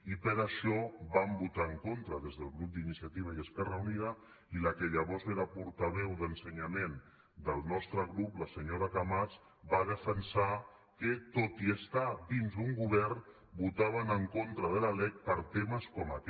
i per això vam votar hi en contra des del grup d’inciativa i esquerra unida i la que llavors era portaveu d’ensenyament del nostre grup la senyora camats va defensar que tot i estar dins d’un govern votaven en contra de la lec per temes com aquest